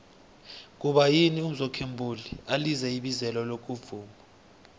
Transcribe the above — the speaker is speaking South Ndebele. kuba yini umzwokhe mbuli alize ibizelo lokuvuma